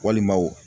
Walima o